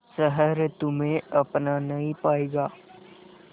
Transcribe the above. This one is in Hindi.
शहर तुम्हे अपना नहीं पाएगा